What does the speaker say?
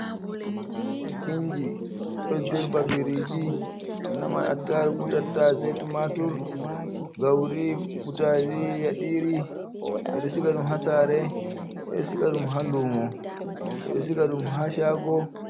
Inji, ɗo dirɓa biriji, ɗo nama attaarugu, tattaase, tumatur, gauri butaali, yaɗiri. Ɓeɗo siga ɗum haa saare, ɓeɗo siga ɗum haa lumo, ɓeɗo siga ɗum haa shaago.